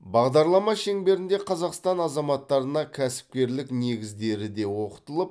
бағдарлама шеңберінде қазақстан азаматтарына кәсіпкерлік негіздері де оқытылып